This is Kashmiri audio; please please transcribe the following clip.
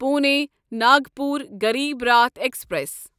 پُونے ناگپور غریٖب راٹھ ایکسپریس